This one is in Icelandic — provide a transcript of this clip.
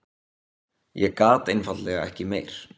Ég gat einfaldlega ekki meir.